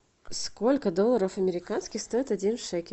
сколько долларов американских стоит один шекель